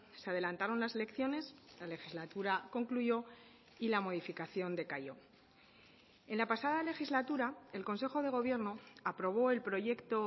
se adelantaron las elecciones la legislatura concluyó y la modificación decayó en la pasada legislatura el consejo de gobierno aprobó el proyecto